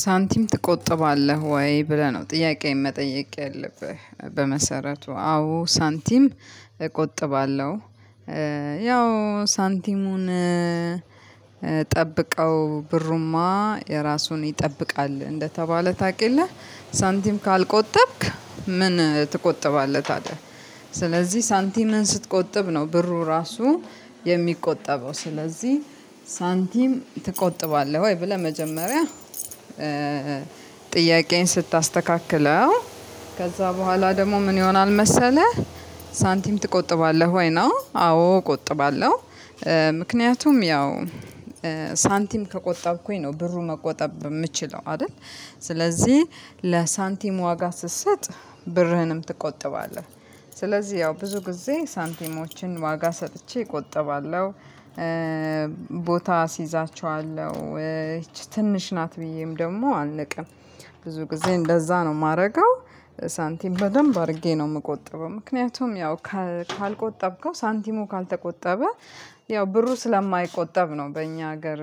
ሳንቲም ትቆጥባለህ ወይ ብለህ ነው ጥያቄዬን መጠየቅ የለብህም? በመሰረቱ አዎ ሳንቲም እቆጥባለሁ። ያው ሳንቲሙን ጠብቀው ብሩማ የራሱን ይጠብቃል እንደተባለ ታውቅየለ። ሳንቲም ካልቆጠብክ ምን ትቆጥባለህ ታዲያ ስለዚህ ሳንቲምን ስትቆጥብ ነው ብሩ ራሱ የሚቆጠበው። ስለዚህ ሳንቲም ትቆጥባለህ ወይ ብለህ መጀመሪያ ጥያቄን ስታስተካክለው ከዛ በኋላ ደግሞ ምን ይሆናል መሰለህ? ሳንቲም ትቆጥባለህ ወይ ነው አዎ እቆጥባለሁ። ምክንያቱም ያው ሳንቲም ከቆጠብኩኝ ነው ብሩን መቆጠብ የምችለው አይደል። ስለዚህ ለሳንቲም ዋጋ ስትሰጥ ብርህንም ትቆጥባለህ። ስለዚህ ያው ብዙ ጊዜ ሳንቲሞችን ዋጋ ሰጥቼ እቆጥባለሁ። ቦታ አስይዛቸዋለሁ ትንሽ ናት ብዬም ደግሞ አልንቅም። ብዙ ጊዜ እንደዛ ነው ማረገው። ሳንቲም በደንብ አድርጌ ነው የምቆጥበው። ምክንያቱም ያው ካልቆጠብከው ሳንቲሙ ካልተቆጠበ ያው ብሩ ስለማይቆጠብ ነው። በእኛ ሀገር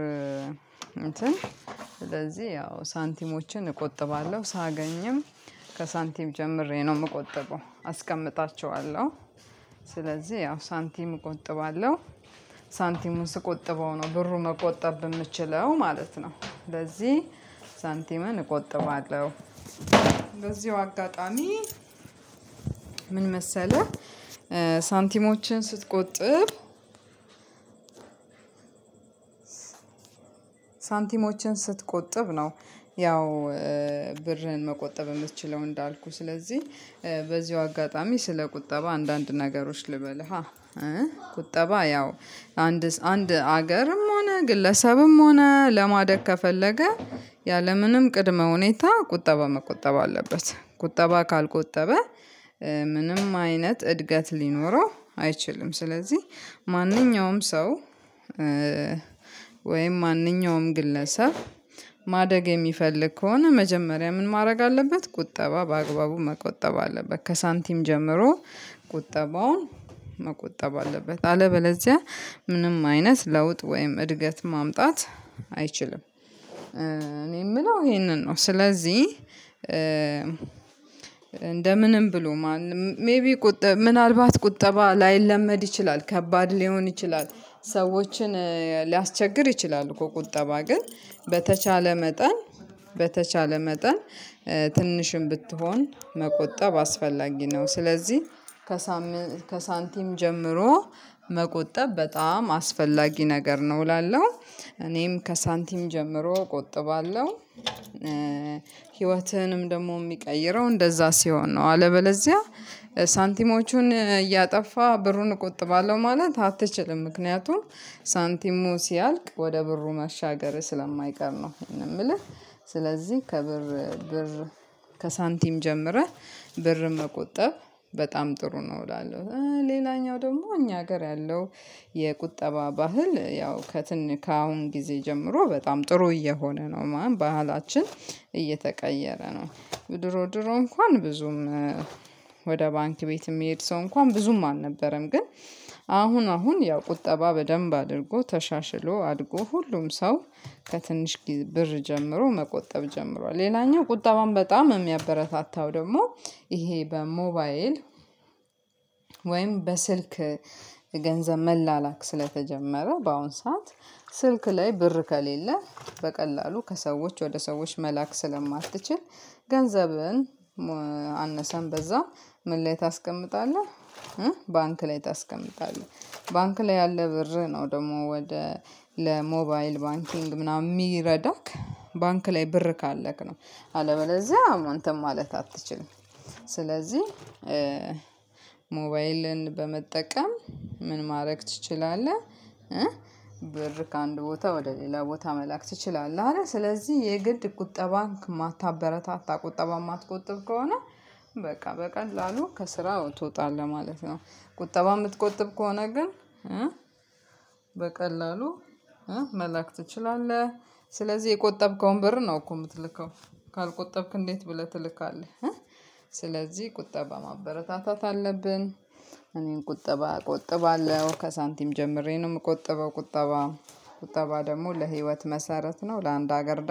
እንትን ስለዚህ ያው ሳንቲሞችን እቆጥባለሁ ሳገኝም። ከሳንቲም ጀምሬ ነው የምቆጥበው አስቀምጣቸዋለሁ። ስለዚህ ያው ሳንቲም እቆጥባለሁ። ሳንቲሙን ስቆጥበው ነው ብሩ መቆጠብ የምችለው ማለት ነው። ለዚህ ሳንቲምን እቆጥባለሁ። በዚሁ አጋጣሚ ምን መሰለህ? ሳንቲሞችን ስትቆጥብ ሳንቲሞችን ስትቆጥብ ነው። ያው ብርህን መቆጠብ የምትችለው እንዳልኩህ ስለዚህ በዚሁ አጋጣሚ ስለ ቁጠባ አንዳንድ ነገሮች ልበልህ። ቁጠባ ያው አንድ አገርም ሆነ ግለሰብም ሆነ ለማደግ ከፈለገ ያለምንም ቅድመ ሁኔታ ቁጠባ መቆጠብ አለበት። ቁጠባ ካልቆጠበ ምንም አይነት እድገት ሊኖረው አይችልም። ስለዚህ ማንኛውም ሰው ወይም ማንኛውም ግለሰብ ማደግ የሚፈልግ ከሆነ መጀመሪያ ምን ማድረግ አለበት ቁጠባ በአግባቡ መቆጠብ አለበት። ከሳንቲም ጀምሮ ቁጠባውን መቆጠብ አለበት። አለበለዚያ ምንም አይነት ለውጥ ወይም እድገት ማምጣት አይችልም። እኔ የምለው ይሄንን ነው። ስለዚህ እንደምንም ብሎ ማንም ሜይቢ ቁጠባ ምናልባት ቁጠባ ላይለመድ ይችላል ከባድ ሊሆን ይችላል። ሰዎችን ሊያስቸግር ይችላል እኮ ቁጠባ ግን በተቻለ መጠን በተቻለ መጠን ትንሽም ብትሆን መቆጠብ አስፈላጊ ነው። ስለዚህ ከሳንቲም ጀምሮ መቆጠብ በጣም አስፈላጊ ነገር ነው እላለሁ። እኔም ከሳንቲም ጀምሮ እቆጥባለሁ። ህይወትህንም ደግሞ የሚቀይረው እንደዛ ሲሆን ነው። አለበለዚያ ሳንቲሞቹን እያጠፋ ብሩን እቆጥባለሁ ማለት አትችልም። ምክንያቱም ሳንቲሙ ሲያልቅ ወደ ብሩ መሻገር ስለማይቀር ነው የምልህ። ስለዚህ ብር ከሳንቲም ጀምረህ ብር መቆጠብ በጣም ጥሩ ነው። እላለሁ ሌላኛው ደግሞ እኛ ሀገር ያለው የቁጠባ ባህል ያው ከአሁን ጊዜ ጀምሮ በጣም ጥሩ እየሆነ ነው ባህላችን እየተቀየረ ነው። ድሮ ድሮ እንኳን ብዙም ወደ ባንክ ቤት የሚሄድ ሰው እንኳን ብዙም አልነበረም። ግን አሁን አሁን ያው ቁጠባ በደንብ አድርጎ ተሻሽሎ አድጎ ሁሉም ሰው ከትንሽ ብር ጀምሮ መቆጠብ ጀምሯል። ሌላኛው ቁጠባም በጣም የሚያበረታታው ደግሞ ይሄ በሞባይል ወይም በስልክ ገንዘብ መላላክ ስለተጀመረ በአሁን ሰዓት ስልክ ላይ ብር ከሌለ በቀላሉ ከሰዎች ወደ ሰዎች መላክ ስለማትችል። ገንዘብን አነሰም በዛ ምን ላይ ታስቀምጠዋለህ? ባንክ ላይ ታስቀምጣለህ። ባንክ ላይ ያለ ብር ነው ደግሞ ወደ ለሞባይል ባንኪንግ ምናምን የሚረዳክ ባንክ ላይ ብር ካለክ ነው። አለበለዚያ አንተም ማለት አትችልም። ስለዚህ ሞባይልን በመጠቀም ምን ማድረግ ትችላለህ? ብር ከአንድ ቦታ ወደ ሌላ ቦታ መላክ ትችላለህ። አይደል ስለዚህ የግድ ቁጠባን ከማታበረታታ ቁጠባ የማትቆጥብ ከሆነ በቃ በቀላሉ ከስራው ትወጣለህ ማለት ነው። ቁጠባ የምትቆጥብ ከሆነ ግን በቀላሉ መላክ ትችላለህ። ስለዚህ የቆጠብከውን ብር ነው እኮ የምትልከው። ካልቆጠብክ እንዴት ብለህ ትልካለህ? ስለዚህ ቁጠባ ማበረታታት አለብን። እኔን ቁጠባ እቆጥባለሁ ከሳንቲም ጀምሬ ነው የምቆጥበው ቁጠባ ቁጠባ ደግሞ ለህይወት መሰረት ነው። ለአንድ ሀገር